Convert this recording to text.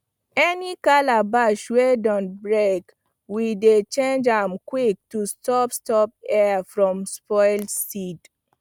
any calabash wey don break we dey change am quick to stop stop air from spoil seed